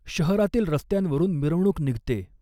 शहरातील रस्त्यांवरून मिरवणूक निघते.